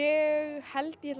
held ég ætli